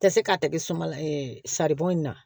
Tɛ se k'a tɛgɛ suma la saribɔn in na